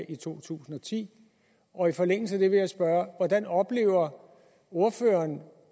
i 2010 og i forlængelse af det vil jeg spørge hvordan oplever ordføreren